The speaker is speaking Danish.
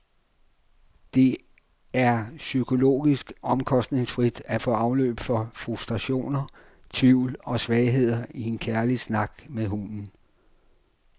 Det er psykologisk omkostningsfrit at få afløb for frustrationer, tvivl og svagheder i en kærlig snak med hunden.